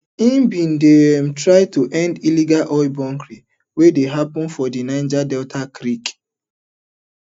im bin dey um try end illegal oil bunkering wey dey happun for di niger delta creeks